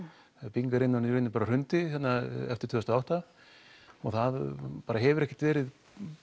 byggingariðnaðurinn í raun hrundi eftir tvö þúsund og átta og það hefur ekkert verið